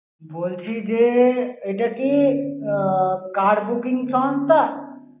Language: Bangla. বলছি যে, এটা কি আহ car booking সংস্থা?